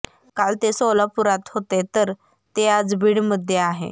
काल ते सोलापुरात होते तर ते आज बीडमध्ये आहे